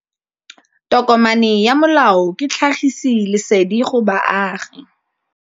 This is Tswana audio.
Tokomane ya molao ke tlhagisi lesedi go baagi.